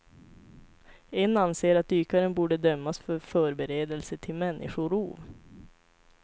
En anser att dykaren borde dömas för förberedelse till människorov.